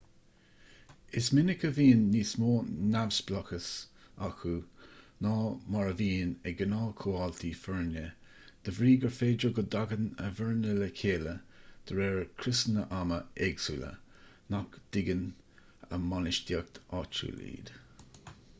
is minic a bhíonn níos mó neamhspleáchais acu ná mar a bhíonn ag gnáthchomhaltaí foirne de bhrí gur féidir go dtagann a bhfoirne le chéile de réir criosanna ama éagsúla nach dtuigeann a mbainistíocht áitiúil iad